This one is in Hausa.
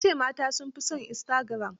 Ta ce mata sun fi son istagiram.